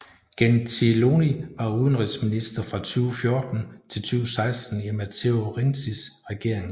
Gentiloni var udenrigsminister fra 2014 til 2016 i Matteo Renzis regering